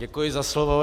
Děkuji za slovo.